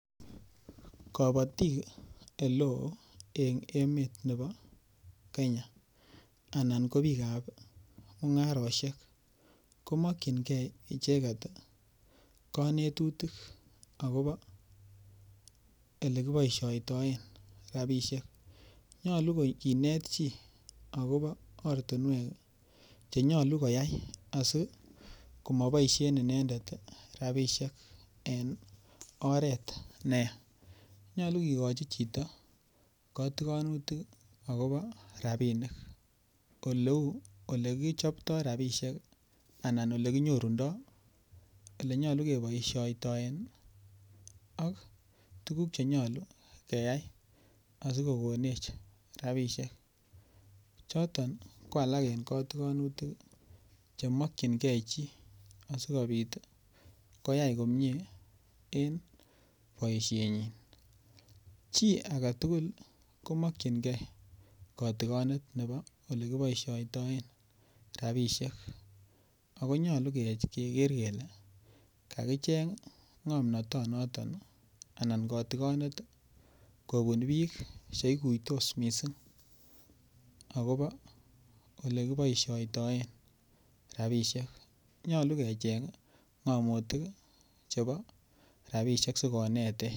Kabatik oleo en emet nebo Kenya Anan ko bikap mungarosiek ko mokyingei icheget konetutik agobo Ole kiboisioten rabisiek nyolu kinet chi Che nyolu koyai asi ko moboisien inendet rabisiek en oret neyaa nyolu kigochi chito kotikonutik agobo rabinik oleu olekichopto rabisiek anan Ole kinyorundoi Ole nyolu keboisien ak tuguk Che nyolu keyai asi kogonech rabisiek choton ko alak en kotikonutik Che makyingei chi asikobit koyai komie en boisienyin Chi age tugul komakyinge kotigonet agobo Ole kiboisiotoen rabisiek ako nyolu keger kele kakicheng ngomnatonoton anan kotigonet kobun bik Che iguitos mising agobo Ole kiboisioten rabisiek nyolu kecheng ngamotik chebo rabisiek asi konetech